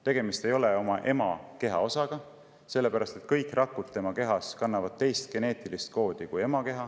Tegemist ei ole ema keha osaga, sellepärast et kõik rakud tema kehas kannavad teist geneetilist koodi kui ema keha.